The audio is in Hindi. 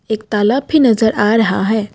एक तालाब भी नजर आ रहा है।